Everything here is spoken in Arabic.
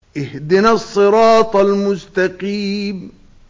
اهْدِنَا الصِّرَاطَ الْمُسْتَقِيمَ